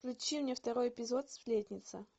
включи мне второй эпизод сплетница